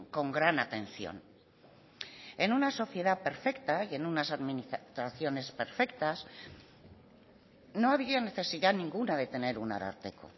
con gran atención en una sociedad perfecta y en unas administraciones perfectas no había necesidad ninguna de tener un ararteko